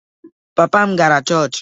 Papa m gara chọọchị